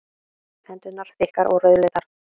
Hendurnar þykkar og rauðleitar.